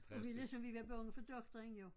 Og det ligesom vi var bange for doktoren jo